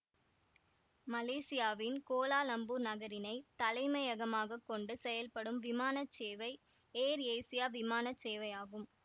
மலேசியாவின் கோலாலம்பூர் நகரினை தலைமையகமாகக் கொண்டு செயல்படும் விமான சேவை ஏர் ஏசியா விமான சேவையாகும்